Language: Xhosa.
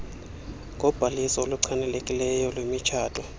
ngobhaliso oluchanekileyo lwemitshato